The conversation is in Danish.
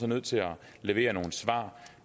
nødt til at levere nogle svar